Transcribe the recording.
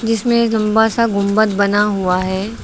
जिसमें एक लंबा सा गुंबद बना हुआ है।